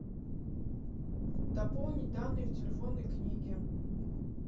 дополнить данные в телефонной книге